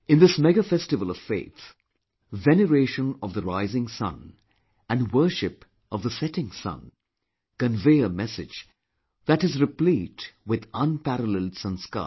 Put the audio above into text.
In this mega festival of faith, veneration of the rising sun and worship of the setting sun convey a message that is replete with unparalleled Sanskar